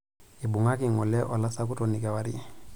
Eibung'aki ng'ole olasakutoni kewarie.